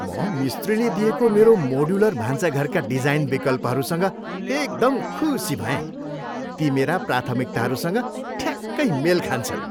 म मिस्त्रीले दिएको मेरो मोड्युलर भान्साघरका डिजाइन विकल्पहरूसँग एकदम खुसी भएँ। ती मेरा प्राथमिकताहरूसँग ठ्याक्कै मेल खान्छन्!